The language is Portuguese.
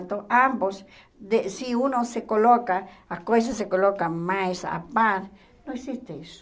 Então, ambos, de se um não se coloca, as coisas se colocam mais à par, não existe isso.